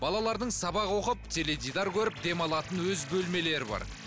балалардың сабақ оқып теледидар көріп демалатын өз бөлмелері бар